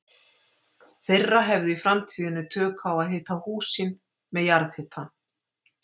þeirra hefðu í framtíðinni tök á að hita hús sín með jarðhita.